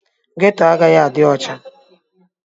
Ghetto agaghị adị ọcha.